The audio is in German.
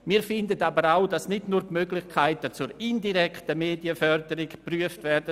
Wir finden aber auch, es sollten nicht nur die Möglichkeiten zur indirekten Medienförderung geprüft werden.